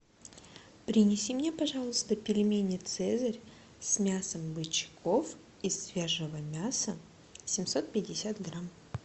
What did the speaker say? принеси мне пожалуйста пельмени цезарь с мясом бычков из свежего мяса семьсот пятьдесят грамм